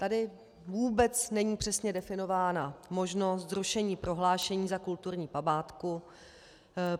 Tady vůbec není přesně definována možnost zrušení prohlášení za kulturní památku.